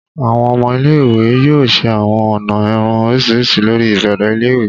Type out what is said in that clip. Awọn ọmọ ile-iwe yoo ṣe awọn ọna irun oriṣiriṣi lori ibẹrẹ ile-iwe.